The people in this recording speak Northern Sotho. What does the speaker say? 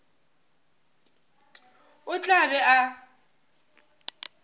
o tla be a ba